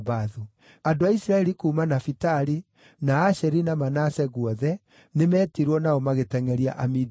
Andũ a Isiraeli kuuma Nafitali, na Asheri na Manase guothe nĩmetirwo nao magĩtengʼeria Amidiani.